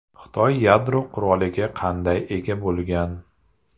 Xitoy yadro quroliga qanday ega bo‘lgan?